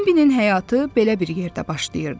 Bimbinin həyatı belə bir yerdə başlayırdı.